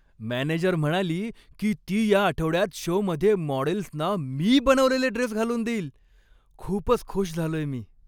Manager म्हणाली की ती या आठवड्यात शोमध्ये मॉडेल्सना मी बनवलेले ड्रेस घालून देईल, खूपच खुश झालोय मी.